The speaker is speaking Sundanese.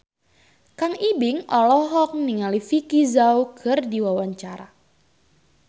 Kang Ibing olohok ningali Vicki Zao keur diwawancara